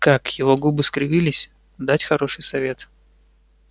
как её губы скривились дать хороший совет